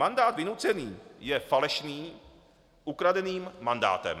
Mandát vynucený je falešným ukradeným mandátem.